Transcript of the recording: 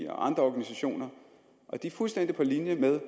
og andre organisationer og de er fuldstændig på linje med